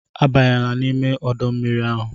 Abanyela n'ime ọdọ mmiri ahụ!